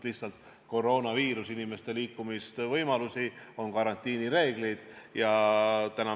Lihtsalt koroonaviirus on muutnud inimeste liikumisvõimalusi, on karantiinireeglid.